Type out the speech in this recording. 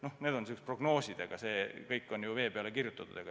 Noh, need on niisugused prognoosid, aga see kõik on ju vee peale kirjutatud.